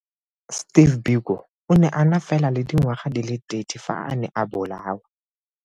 Steve Biko o ne a na fela le dingwaga di le 30 fa a ne a bolawa.